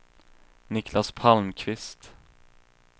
Niclas Palmqvist